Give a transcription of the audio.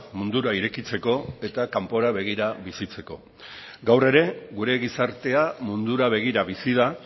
mundura irekitzeko eta kanpora begira bizitzeko gaur ere gure gizartea mundura begira bizi da